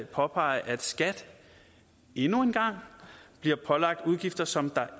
påpege at skat endnu en gang bliver pålagt udgifter som